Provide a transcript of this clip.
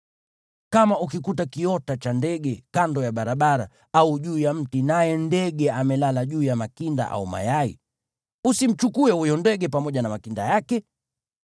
Kama ukikuta kiota cha ndege kando ya barabara, iwe juu ya mti au chini, naye ndege amelala juu ya makinda au mayai, usimchukue huyo ndege pamoja na makinda yake.